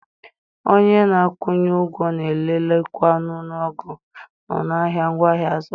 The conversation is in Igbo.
Onye a na-akwụnye ụgwọ na-elelekwa ọnụọgụgụ na ọnụ ahịa ngwaahịa a zụrụ.